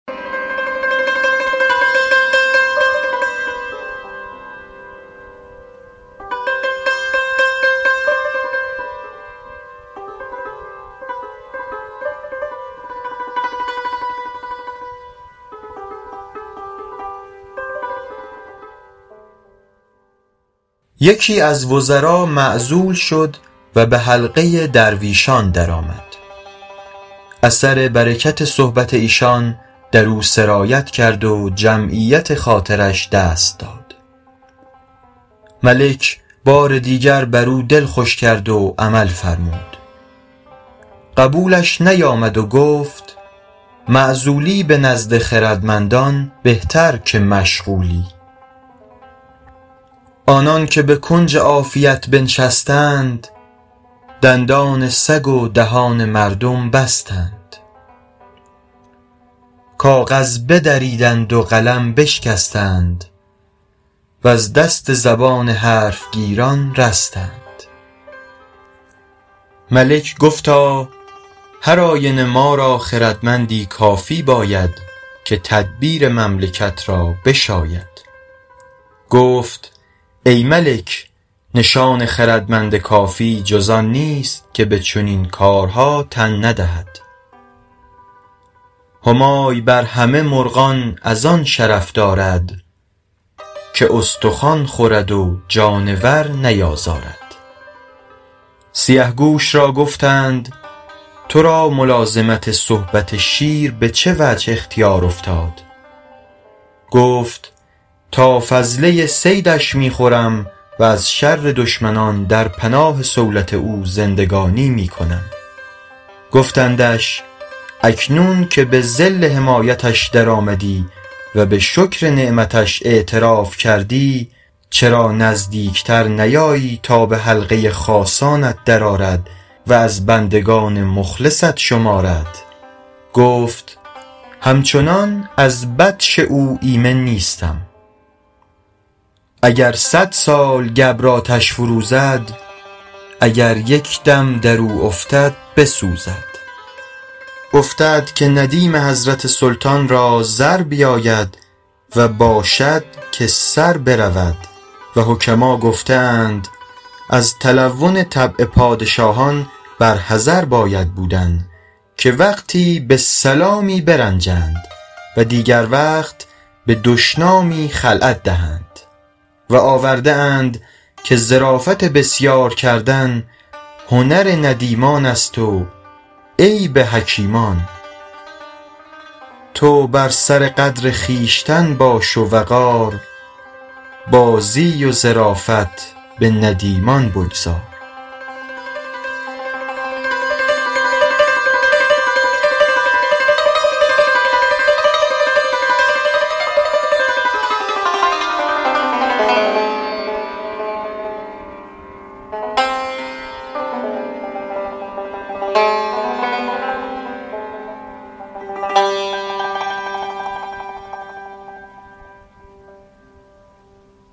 یکی از وزرا معزول شد و به حلقه درویشان درآمد اثر برکت صحبت ایشان در او سرایت کرد و جمعیت خاطرش دست داد ملک بار دیگر بر او دل خوش کرد و عمل فرمود قبولش نیامد و گفت معزولی به نزد خردمندان بهتر که مشغولی آنان که به کنج عافیت بنشستند دندان سگ و دهان مردم بستند کاغذ بدریدند و قلم بشکستند وز دست زبان حرف گیران رستند ملک گفتا هر آینه ما را خردمندی کافی باید که تدبیر مملکت را بشاید گفت ای ملک نشان خردمند کافی جز آن نیست که به چنین کارها تن ندهد همای بر همه مرغان از آن شرف دارد که استخوان خورد و جانور نیازارد سیه گوش را گفتند تو را ملازمت صحبت شیر به چه وجه اختیار افتاد گفت تا فضله صیدش می خورم و ز شر دشمنان در پناه صولت او زندگانی می کنم گفتندش اکنون که به ظل حمایتش در آمدی و به شکر نعمتش اعتراف کردی چرا نزدیک تر نیایی تا به حلقه خاصانت در آرد و از بندگان مخلصت شمارد گفت همچنان از بطش او ایمن نیستم اگر صد سال گبر آتش فروزد اگر یک دم در او افتد بسوزد افتد که ندیم حضرت سلطان را زر بیاید و باشد که سر برود و حکما گفته اند از تلون طبع پادشاهان بر حذر باید بودن که وقتی به سلامی برنجند و دیگر وقت به دشنامی خلعت دهند و آورده اند که ظرافت بسیار کردن هنر ندیمان است و عیب حکیمان تو بر سر قدر خویشتن باش و وقار بازی و ظرافت به ندیمان بگذار